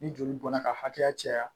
Ni joli bɔnna ka hakɛya caya